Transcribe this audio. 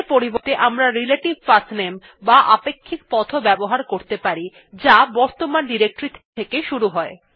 এর পরিবর্তে আমরা রিলেটিভ পাঠনামে বা আপেক্ষিক পথ ও ব্যবহার করতে পারি যা বর্তমান ডিরেক্টরী থেকে শুরু হয়